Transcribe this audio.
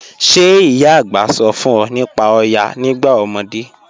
Ṣẹ̀ ìyá ạ̀gbá sọ̀ fún ọ̀ nípá Òyá nígbà ọmọdé?